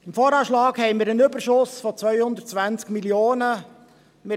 Beim VA haben wir einen Überschuss von 220 Mio. Franken.